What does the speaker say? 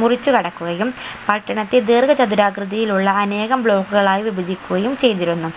മുറിച്ചു കടക്കുകയും പട്ടണത്തെ ദീർഘ ചതുരാകൃതിയിലുള്ള അനേകം block കളായി വിഭജിക്കുകയും ചെയ്തിരുന്നു